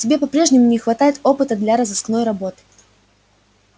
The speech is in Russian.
тебе по-прежнему не хватает опыта для розыскной работы